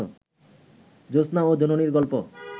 জোছনা ও জননীর গল্প